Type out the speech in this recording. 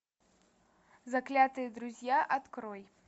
заклятые друзья открой